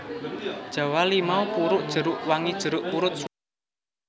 Jawa limau purut jeruk wangi jeruk purut Sunda Jawa